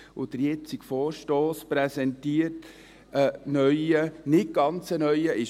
Der jetzige Vorstoss präsentiert einen neuen, einen nicht ganz neuen Ansatz.